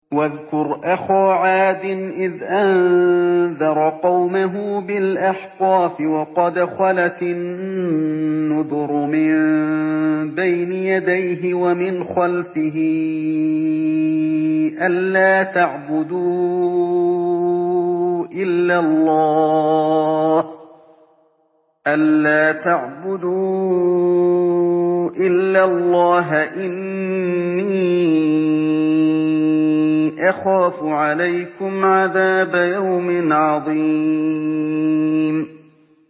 ۞ وَاذْكُرْ أَخَا عَادٍ إِذْ أَنذَرَ قَوْمَهُ بِالْأَحْقَافِ وَقَدْ خَلَتِ النُّذُرُ مِن بَيْنِ يَدَيْهِ وَمِنْ خَلْفِهِ أَلَّا تَعْبُدُوا إِلَّا اللَّهَ إِنِّي أَخَافُ عَلَيْكُمْ عَذَابَ يَوْمٍ عَظِيمٍ